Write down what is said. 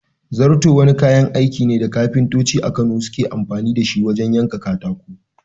Zarto wani kayan aiki ne da kafintoci a Kano suke amfani da shi wajen yanka katako.